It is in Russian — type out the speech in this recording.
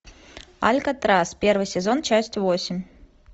алькатрас первый сезон часть восемь